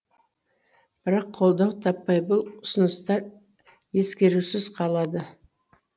бірақ қолдау таппай бұл ұсыныстар ескерусіз қалады